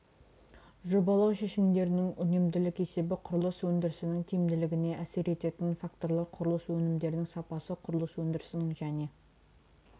жобалау шешімдерінің үнемділік есебі құрылыс өндірісінің тиімділігіне әсер ететін факторлар құрылыс өнімдерінің сапасы құрылыс өндірісінің және